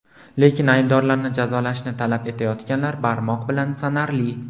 Lekin aybdorlarni jazolashni talab etayotganlar barmoq bilan sanarli.